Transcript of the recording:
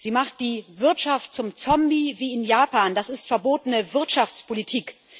Sie macht die Wirtschaft zum Zombie wie in Japan, das ist verbotene Wirtschaftspolitik.